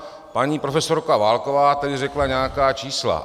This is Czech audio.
Paní profesorka Válková tady řekla nějaká čísla.